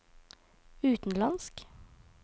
utenlandsk